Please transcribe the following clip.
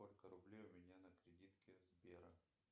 сколько рублей у меня на кредитке сбера